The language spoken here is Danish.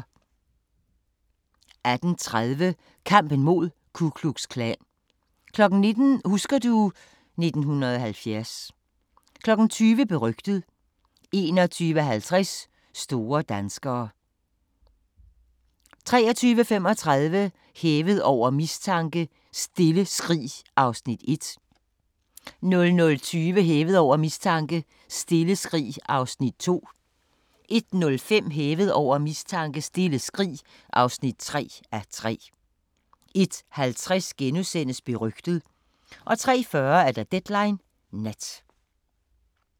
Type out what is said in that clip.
18:30: Kampen mod Ku Klux Klan 19:00: Husker du ... 1970 20:00: Berygtet 21:50: Store danskere 23:35: Hævet over mistanke: Stille skrig (1:3) 00:20: Hævet over mistanke: Stille skrig (2:3) 01:05: Hævet over mistanke: Stille skrig (3:3) 01:50: Berygtet * 03:40: Deadline Nat